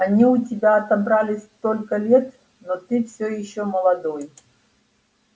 они у тебя отобрали столько лет но ты все ещё молодой